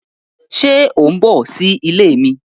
Ṣe o n bọ si ile mi?